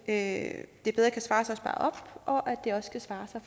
at det bedre kan svare sig at spare op og at det også kan svare sig